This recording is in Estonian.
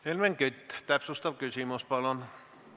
Helmen Kütt, täpsustav küsimus, palun!